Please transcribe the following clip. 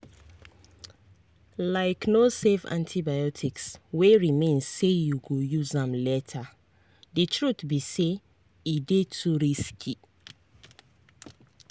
likeno save antibiotics wey remain say you go use am laterthe truth be saye dey too risky.